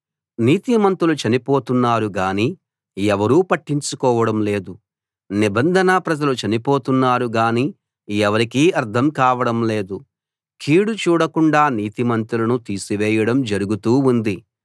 నీతిమంతులు చనిపోతున్నారు గానీ ఎవరూ పట్టించుకోవడంలేదు నిబంధన ప్రజలు చనిపోతున్నారు గానీ ఎవరికీ అర్థం కావడం లేదు కీడు చూడకుండా నీతిమంతులను తీసివేయడం జరుగుతూ ఉంది